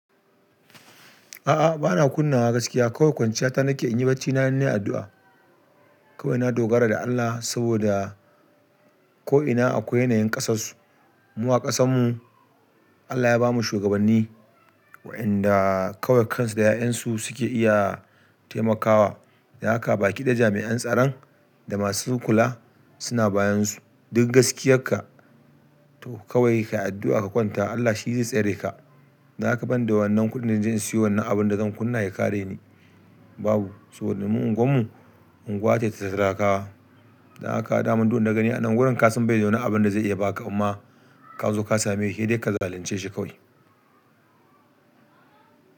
A'a bana kunna wa gaskiya kawai kwanciya ta nake in yi bacina in ne a addu'a. Kawai na dogara da Allah saboda ko'ina akwai yanayin ƙasarsu. Mu a ƙasanmu Allah ya bamu shugabanni wa'inda kawai kansu da 'ya'yansu suke iya taimakawa. Da haka baki ɗaya jami'an tsaron da masu kula suna bayansu. Duk gaskiyarka to kawai ka yi addu'a ka kwanta Allah shi zai tsere ka. Dab haka ban da wannan kuɗin da zan je in siyo wannan abin da zan kunna ya kare ni babu. Saboda mu unguwarmu unguwa ce ta talakawa. Dan haka daman dun wanda ka gani a nan gurin ka sun bai da wani abin da zai iya ba ka amma ka zo ka same shi dai ka zalunce shi kawai.